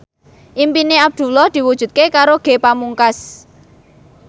impine Abdullah diwujudke karo Ge Pamungkas